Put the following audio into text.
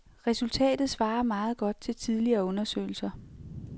Resultatet svarer meget godt til tidligere undersøgelser.